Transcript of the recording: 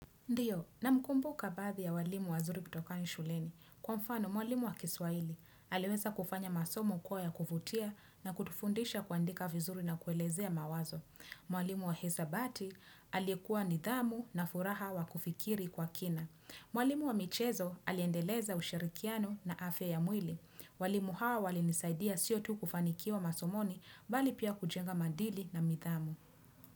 Ndiyo, namkumbuka baadhi ya walimu wazuri kutoka ni shuleni. Kwa mfano, mwalimu wa kiswahili aliweza kufanya masomo kuwa ya kuvutia na kutufundisha kuandika vizuri na kuelezea mawazo. Mwalimu wa hisabati aliyekuwa nidhamu na furaha wa kufikiri kwa kina. Mwalimu wa michezo aliendeleza ushirikiano na afya ya mwili. Walimu hawa walinisaidia sio tu kufanikiwa masomoni bali pia kujenga maadili na nidhamu.